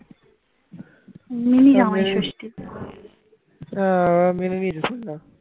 হ্যাঁ ওরা মেনে নিয়েছে সব শুনলাম।